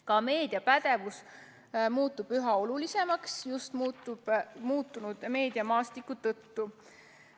Ka meediapädevus muutub üha olulisemaks, just muutunud meediamaastiku tõttu.